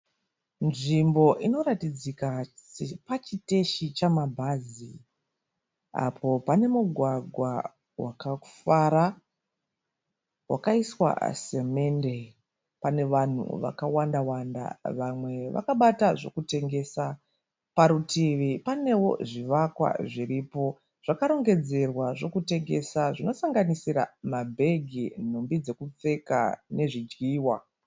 Nzvimbo inoratidzika sepachiteshi chamabhazi, apo pane mugwagwa wakafara wakaiswa simende. Pane vanhu vakawanda wanda vamwe vakabata zvokutengesa, parutivi panewo zvivakwa zviripo zvakarongedzerwa zvokutengesa zvinosanganisira mabhegi, nhumbi dzekupfeka nezvidyiwa.